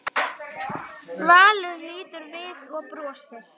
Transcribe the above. Valur lítur við og brosir.